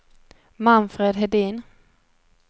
Manfred Hedin